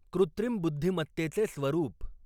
कृत्रिम बुद्धिमत्तेचे स्वरूप